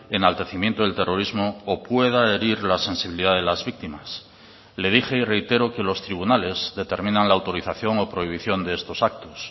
enaltecimiento del terrorismo o pueda herir la sensibilidad de las víctimas le dije y reitero que los tribunales determinan la autorización o prohibición de estos actos